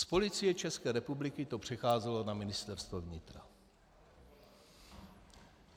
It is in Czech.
Z Policie České republiky to přecházelo na Ministerstvo vnitra.